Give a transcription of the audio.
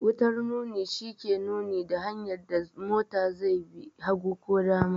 Wutar nuni shi ke nuni da hanyar da mota zai bi, hagu ko dama.